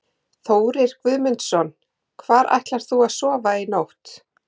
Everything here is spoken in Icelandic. Þórir Guðmundsson: Hvar ætlar þú að sofa í nótt?